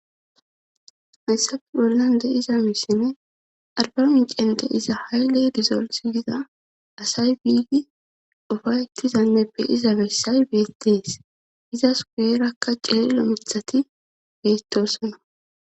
hayssafe bollan deyiza misine arba micen de iza hayle dizols gida asay biigi ufaytizanneppe iza messay beettees izas kuyerakka cirelo mithati beettosona